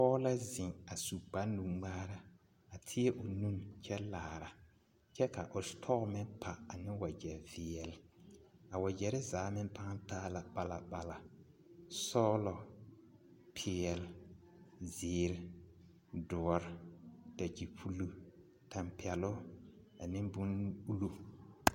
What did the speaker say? Pɔge la zeŋ a su kpare nuŋmaara a teɛ o nu kyɛ laara kyɛ ka o setɔɔ meŋ pa ane wagya veɛle a wagyare zaa meŋ paa taa la balabala sɔglɔ, peɛle, zeere, doɔre, dakyepullo, tampɛloŋ ane bon-ullo.